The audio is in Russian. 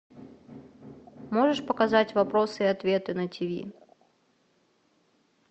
можешь показать вопросы и ответы на тиви